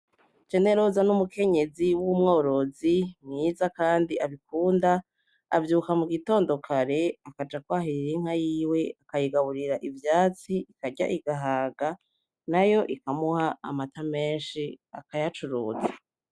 Generoza n'umukenyezi wumworozi Kandi abikunda ,avyuka mugitondo kare akaja kwahirira Inka yiwe akayigaburira ivyatsi ikarya igahaga , nayo ikamuha amata menshi akayacuruza .